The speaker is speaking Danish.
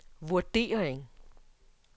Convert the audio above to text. vurdering